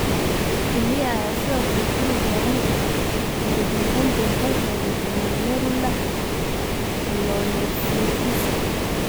Kelyaha ayaa sidoo kale ku lug yeelan kara, ugu dambeyntii waxay keenaan glomerulonephritiska.